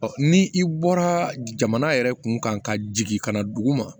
ni i bɔra jamana yɛrɛ kun kan ka jigin ka na dugu ma